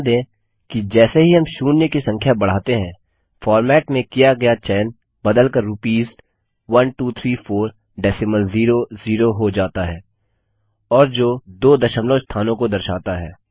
ध्यान दें कि जैसे ही हम शून्य की संख्या बढ़ाते हैं फॉर्मेट में किया गया चयन बदल कर रूपीस 1234 डेसिमल ज़ेरो ज़ेरो हो जाता है और जो दो दशमलव स्थानों को दर्शाता है